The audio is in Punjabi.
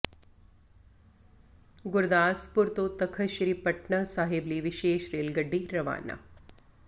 ਗੁਰਦਾਸਪੁਰ ਤੋਂ ਤਖਤ ਸ੍ਰੀ ਪਟਨਾ ਸਾਹਿਬ ਲਈ ਵਿਸ਼ੇਸ਼ ਰੇਲ ਗੱਡੀ ਰਵਾਨਾ